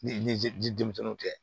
Ni ji denmisɛnnu tɛ